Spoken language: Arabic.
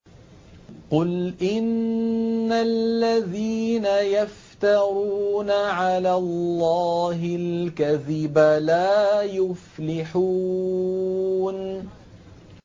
قُلْ إِنَّ الَّذِينَ يَفْتَرُونَ عَلَى اللَّهِ الْكَذِبَ لَا يُفْلِحُونَ